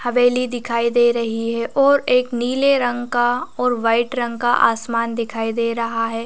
हवेली दिखाई दे रही है ओर एक नीले रंग का ओर वाइट रंग का आसमान दिखाई दे रहा हैं ।